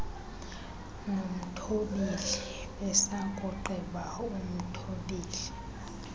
nomthobeli besakugqiba umthobeli